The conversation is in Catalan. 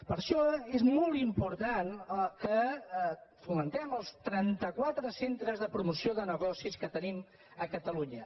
per això és molt important que fomentem els trentaquatre centres de promoció de negocis que tenim a catalunya